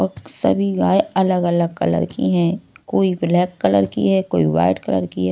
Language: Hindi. और सभी गाय अलग-अलग कलर की हैं कोई ब्लैक कलर की है कोई वाइट कलर की है।